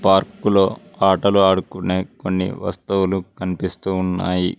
పార్కులో ఆటలు ఆడుకునే కొన్ని వస్తువులు కనిపిస్తూ ఉన్నాయి.